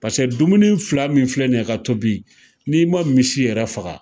Pase dumuni fila min filɛ nin ye ka tobi n'i ma misi yɛrɛ faga